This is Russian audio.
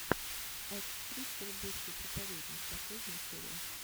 экс причер бывший проповедник последняя серия